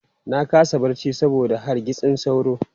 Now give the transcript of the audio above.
Na kasa barci saboda hargitsin sauro.